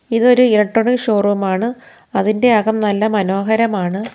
ഇതൊരു ഇലക്ട്രോണിക് ഷോ റൂമാണ് അതിൻ്റെ അകം നല്ല മനോഹരമാണ്.